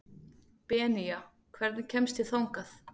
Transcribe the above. Benía, hvernig kemst ég þangað?